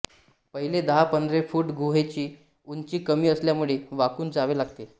पहिले दहा पंधरा फूट गुहेची उंची कमी असल्यामुळे वाकून जावे लागते